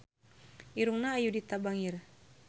Irungna Ayudhita bangir